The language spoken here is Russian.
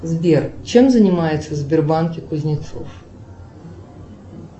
сбер чем занимается в сбербанке кузнецов